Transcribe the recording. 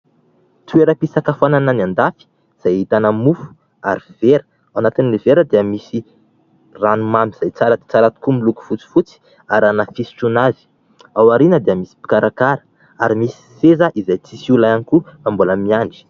Toeram-pisakafoanana any andafy izay ahitana mofo ary vera. Ao anatin'ilay vera dia misy ranomamy izay tsara dia tsara tokoa miloko fotsifotsy ary ary anaty fisotroana azy. Ao aoriana dia misy mpikarakara ary misy seza izay tsy misy olona ihany koa fa mbola miandry.